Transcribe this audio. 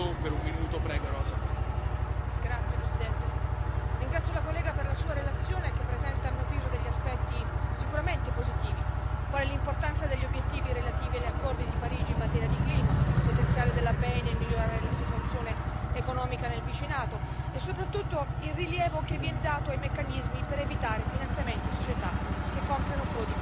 Signor Presidente, onorevoli colleghi, ringrazio la collega per la sua relazione che presenta, a mio avviso, degli aspetti sicuramente positivi, quali l'importanza degli obiettivi relativi agli accordi di Parigi in materia di clima, il potenziale della BEI nel migliorare la situazione economica nel vicinato e soprattutto il rilievo che viene dato ai meccanismi per evitare finanziamenti a società che compiono frodi fiscali.